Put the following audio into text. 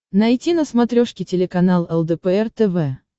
найти на смотрешке телеканал лдпр тв